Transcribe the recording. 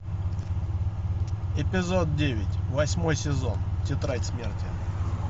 эпизод девять восьмой сезон тетрадь смерти